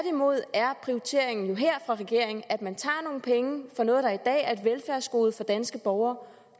er prioriteringen jo her for regeringen at man tager nogle penge fra noget der i dag er et velfærdsgode for danske borgere